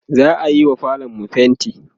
za'ayiwa falonmu fainti